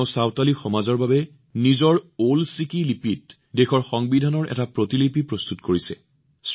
তেওঁ সন্তলী সমাজৰ বাবে তেওঁৰ নিজৰ ওলে চিকি লিপিত দেশৰ সংবিধানৰ এটা প্ৰতিলিপি প্ৰস্তুত কৰিছে